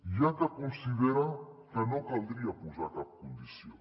hi ha qui considera que no caldria posar hi cap condició